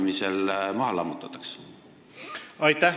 Aitäh!